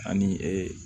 Ani ee